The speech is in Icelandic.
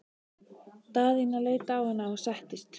Daðína leit á hana og settist.